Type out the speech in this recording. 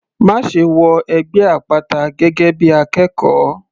Máṣe wọ ẹgbẹ́ àpáta gẹ́gẹ́ bí akẹ́kọ̀ọ́!.